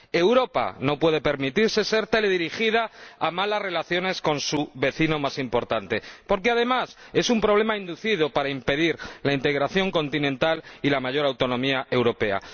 Europa no puede permitirse ser teledirigida hacia unas malas relaciones con su vecino más importante porque, además, es un problema inducido para impedir la integración continental y la mayor autonomía europea.